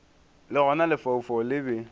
le gona lefaufau le be